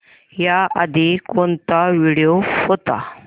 याआधी कोणता व्हिडिओ होता